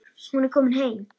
Hún er komin heim.